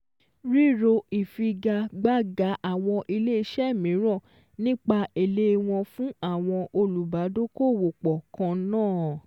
Ríro ìfigagbága àwọn ilé iṣẹ́ míràn nípa èlé wọn fún àwọn olùbádókòòwòpọ̀ kan náà